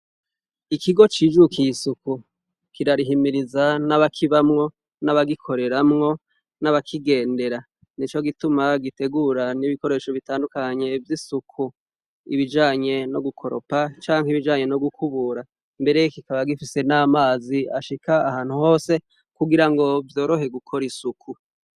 Ikigo cijukiye isuku, kirahirimiriza nabakibamwo, n'abagikoreramwo, n'abakogendera. Nico gituma gitegura n'igikoresho bitandukanye vy'isuku. Ibijanye no gukoropa hamwe nibijanye no gukubura mbere kikaba gifise n'amazi ashika ahantu hose kugirango vyoroshe gukora isuku.